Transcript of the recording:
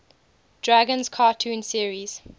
dragons cartoon series